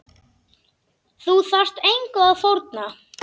Þú þarft engu að fórna.